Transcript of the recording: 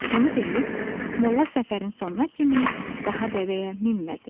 Bunu deyib, molla səfərin sonuna kimi daha dəvəyə minmədi.